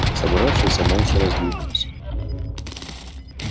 собравшиеся молча раздвинулись